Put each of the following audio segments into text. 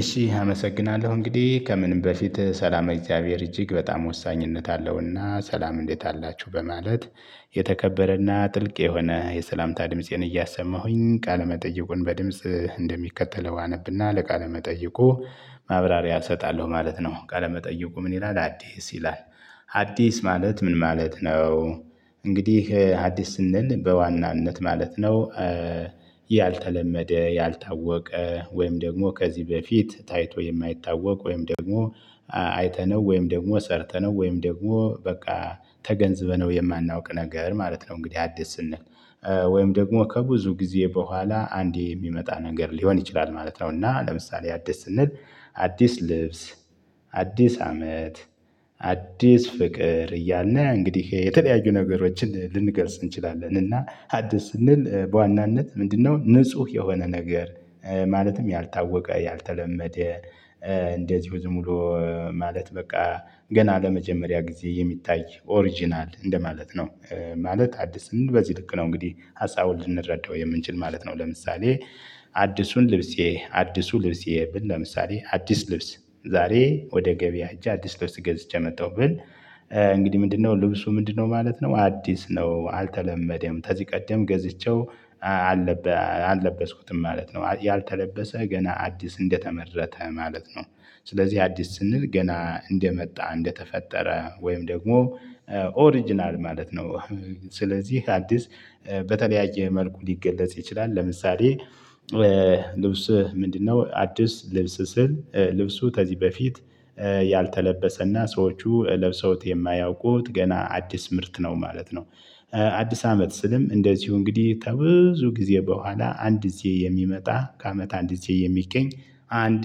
እሺ አመሰግናለሁ እንግዲህ ከምንም በፊት ሰላም እግዚአብሔር እጅግ በጣም ወሳኝነት አለውና ሰላም እንዴት አላችሁ በማለት የተከበረና ጥልቅ የሆነ የሰላምታ ድምፄን እያሰማሁኝ ቃለመጠይቁን በድምጽ እንደሚከተለው አነብና ለቃለ መጠይቁ ማብራሪያ እሰጣለሁ ማለት ነው። ቃለ መጠይቁ ምን? ይላል አዲስ ይላል። አዲስ ማለት ምን ማለት ነው? እንግዲህ አዲስ ስንል በዋናነት ማለት ነው። ያልተለመደ ያልታወቀ ወይም ደግሞ ከዚህ በፊት ታይቶ ወይም ደግሞ አይተነው ወይም ደግሞ ሰርተነው ወይም ደግሞ በቃ ተገንዝበነው የማናውቅ ነገር ማለት ነው። እንግዲህ አዲስ ስንል ወይም ደግሞ ከብዙ ጊዜ በኋላ አንዴ የሚመጣ ነገር ሊሆን ይችላል ማለት ነው። እና ለምሳሌ አዲስ ስንል አዲስ ልብስ አዲስ አመት አዲስ ፍቅር እያለ እንግዲህ የተለያዩ ነገሮችን ልንገርጽ እንችላለን እና አዲስ ስንል በዋናነት ምንድነው ንጹህ የሆነ ነገር። ማለትም ያልታወቀ ያልተለመደ እንደዚሁም ሙሉ ማለት በቃ ገና ለመጀመሪያ ጊዜ የሚታይ ኦሪጅናል እንደማለት ነው። ማለት አዲስ በዚህ ልክ ነው እንግዲህ ሀሳብ ልንረዳው የምንችል ማለት ነው። ለምሳሌ አዲሱን ልብሴ አዲሱ ልብሴ ብል ለምሳሌ አዲስ ልብስ ዛሬ ወደ ገበያ እጄ አዲስ ልብስ ገዝቼ መጣሁ ብል። እንግዲህ ምንድነው ልብሱ ምንድነው ማለት ነው? አዲስ ነው አልተለመደም ከዚህ ቀደም ገዝቼው አለበት አልለበስኩትም ማለት ነው። ያልተለበሰ ገና አዲስ እንደተመረተ ማለት ነው። ስለዚህ አዲስ ስንል ገና እንደመጣ እንደተፈጠረ ወይም ደግሞ ኦሪጅናል ማለት ነው። ስለዚህ አዲስ በተለያየ መልኩ ሊገለጽ ይችላል። ለምሳሌ ልብስ ምንድነው አዲስ ልብስ ስል ልብሱ ከዚህ በፊት ያልተለበሰና ሰዎቹ ለብሰውት የማያውቁት ገና አዲስ ምርት ነው ማለት ነው። አዲስ አመት ስልም እንደዚሁ እንግዲህ ተብዙ ጊዜ በኋላ አንድ ጊዜ የሚመጣ ከአመት አንድ ጊዜ የሚገኝ አንድ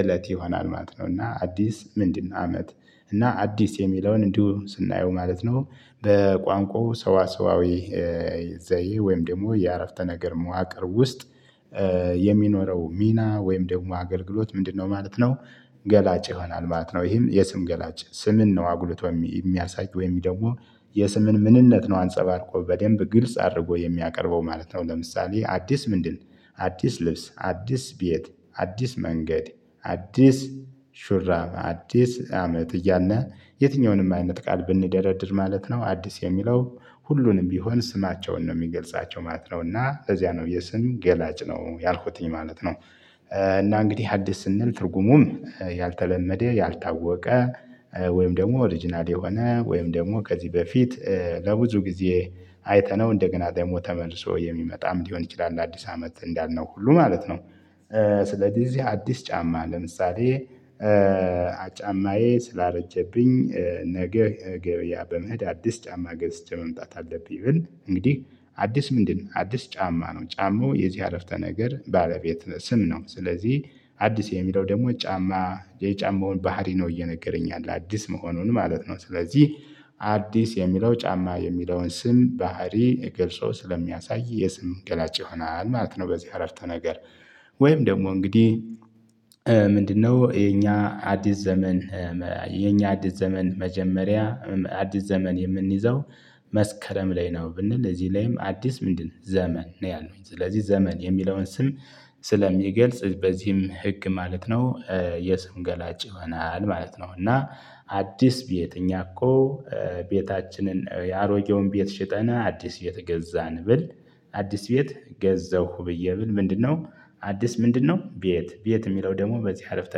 እለት ይሆናል ማት ነው። እና አዲስ ምንድነው? አመት እና አዲስ የሚለውን እንዲሁ ስናየው ማለት ነው። በቋንቋው ሰዋሰዋዊ ዘይ ወይም ደግሞ የአረፍተ ነገር መዋቅር ውስጥ የሚኖረው ሚና ወይም ደግሞ አገልግሎት ምንድነው? ማለት ነው ገላጭ ይሆናል ማለት ነው። ይሄም የስም ገላጭ ስምን ነው አጉልቶ የሚያሳይ ወይም ደግሞ የስምን ምንነት ነው አንጸባርቆ በደንብ ግልጽ አድርጎ የሚያቀርበው ማለት ነው። ለምሳሌ አዲስ ምንድን አዲስ ልብስ አዲስ ቤት አዲስ መንገድ አዲስ ሹራብ አዲስ አመት እያልና የትኛውንም አይነት ቃል ብንደረድር ማለት ነው አዲስ የሚለው ሁሉንም ቢሆን ስማቸውን ነው የሚገልጻቸው ማለት ነው እና እዚያ ነው የስም ገላጭ ነው ያልኩትኝ ማለት ነው። እና እንግዲህ ሀዲስ ስንል ትርጉሙም ያልተለመደ ያልታወቀ ወይም ደግሞ ኦሪጅናል የሆነ ወይም ደግሞ ከዚህ በፊት ለብዙ ጊዜ አይተነው እንደገና ደግሞ ተመልሶ የሚመጣም ሊሆን ይችላል ለአዲስ አመት እንዳልነው ሁሉ ማለት ነው። ስለዚህ እዚህ አዲስ ጫማ ለምሳሌ ጫማዬ ስላረጀብኝ ነገ ገበያ በመሄድ አዲስ ጫማ ገዝቼ መምጣት አለብኝ ብል እንግዲህ አዲስ ምንድነው አዲስ ጫማ ነው ጫማው የዚህ አረፍተ ነገር ባለቤት ስም ነው። ስለዚህ አዲስ የሚለው ደግሞ ጫማ የጫማውን ባህሪ ነው እየነገረኝ አለ አዲስ መሆኑን ማለት ነው። ስለዚህ አዲስ የሚለው ጫማ የሚለውን ስም ባህሪ ገልጾ ስለሚያሳይ የስም ገላጭ ይሆናል ማለት ነው። በዚህ አረፍተ ነገር ወይም ደግሞ እንግዲህ ምንድነው? የኛ አዲስ ዘመን የኛ አዲስ ዘመን መጀመሪያ አዲስ ዘመን የምንይዘው መስከረም ላይ ነው። ብንል እዚህ ላይም አዲስ ምንድን ዘመን ነው ያለው። ስለዚህ ዘመን የሚለውን ስም ስለሚገልጽ በዚህም ህግ ማለት ነው። የስም ገላጭ ይሆናል ማለት ነው። እና አዲስ ቤት እኛ እኮ ቤታችንን የአሮጌውን ቤት ሽጠና አዲስ ቤት ገዛን ብል። አዲስ ቤት ገዛሁ ብዬ ብል ምንድነው? አዲስ ምንድነው? ቤት ቤት የሚለው ደግሞ በዚህ አረፍተ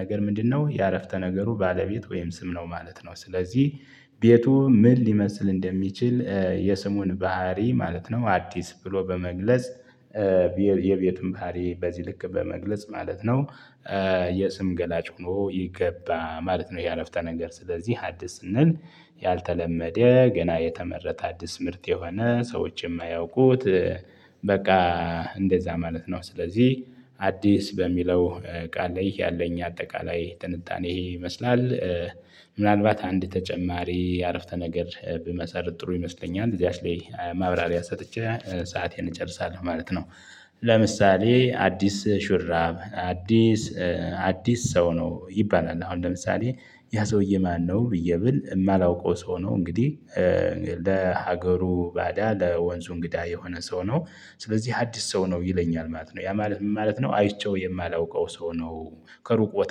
ነገር ምንድነው የአረፍተ ነገሩ ባለቤት ወይም ስም ነው ማለት ነው። ስለዚህ ቤቱ ምን ሊመስል እንደሚችል የስሙን ባህሪ ማለት ነው አዲስ ብሎ በመግለጽ የቤትም ባህሪ በዚህ ልክ በመግለጽ ማለት ነው። የስም ገላጭ ሆኖ የገባ ማለት ነው። ይሄ አረፍተ ነገር ስለዚህ ሀዲስ ስንል ያልተለመደ ገና የተመረጠ አዲስ ምርት የሆነ ሰዎችን የማያውቁት በቃ እንደዛ ማለት ነው። ስለዚህ አዲስ በሚለው ቃል ላይ ያለኝ አጠቃላይ ትንታኔ ይህን ይመስላል። ምናልባት አንድ ተጨማሪ አረፍተ ነገር ብመሰርት ጥሩ ይመስለኛል እዚያሽ ላይ ማብራሪያ ሰጥቼ ሰአቴን እጨርሳለሁ ማለት ነው። ለምሳሌ አዲስ ሹራብ አዲስ አዲስ ሰው ነው ይባላል አሁን ለምሳሌ ያ ሰውዬ ማነው? ብዬ ብል የማላውቀው ሰው ነው። እንግዲህ ለሀገሩ ባዳ ለወንዙ እንግዳ የሆነ ሰው ነው። ስለዚህ አዲስ ሰው ነው ይለኛል ማለት ነው። ያ ማለት ምን ማለት ነው? አይቼው የማላውቀው ሰው ነው። ከሩቅ ቦታ